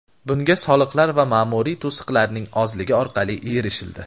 Bunga soliqlar va ma’muriy to‘siqlarning ozligi orqali erishildi.